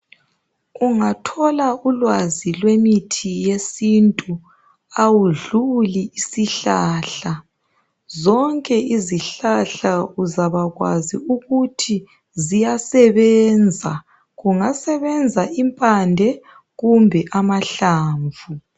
Ungathola ulwazi lwemithi yesintu awudluli isihlahla zonke izihlahla uzabakwazi ukuthi ziyasebenza kungasebenza impande kumbe amahlamvu